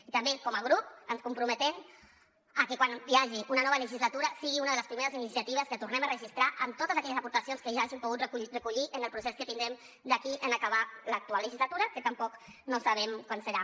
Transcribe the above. i també com a grup ens comprometem a que quan hi hagi una nova legislatura sigui una de les primeres iniciatives que tornem a registrar amb totes aquelles aportacions que hagin pogut recollir en el procés que tindrem d’aquí a acabar l’actual legislatura que tampoc no sabem quan serà